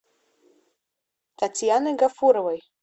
татьяной гафуровой